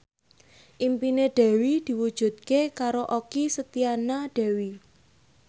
impine Dewi diwujudke karo Okky Setiana Dewi